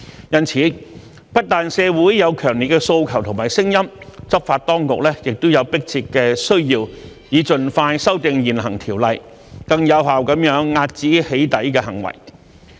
因此，不但社會有強烈的訴求和聲音，執法當局也有迫切的需要，以盡快修訂現行條例，更有效地遏止"起底"行為。